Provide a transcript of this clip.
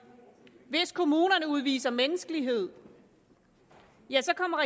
hvis kommunerne udviser menneskelighed ja så kommer